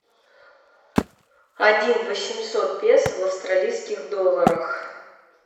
один восемьсот песо в австралийских долларах